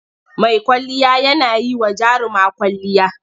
Mai kwalliya yana yi wa jaruma kwwalliya.